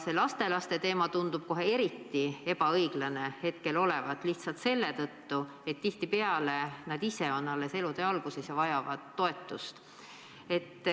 See lastelaste teema tundub kohe eriti ebaõiglane olevat, lihtsalt seetõttu, et tihtipeale nad ise on alles elutee alguses ja vajavad toetust.